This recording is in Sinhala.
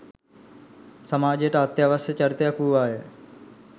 සමාජයට අත්‍යවශ්‍ය චරිතයක් වූවාය